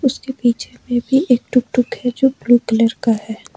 उसके पीछे में भी एक टुकटुक है जो ब्लू कलर का है।